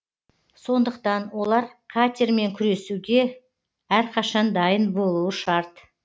сондықтан олар қатермен күресуге әрқашан дайын болуы шарт